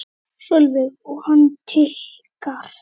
Sólveig: Og hann tikkar?